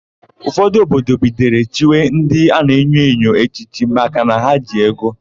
Ụfọdụ obodo bidoro chiwe ndị a na-enyo enyo echichi makana ha ji ego.